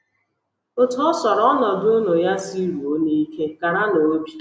Otú ọ sọrọ ọnọdụ unu ya siruo n’ike, karanụ obi.